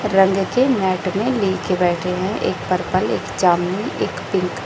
रंग के मैट में ले के बैठे है एक पर्पल एक जामुनी एक पिंक --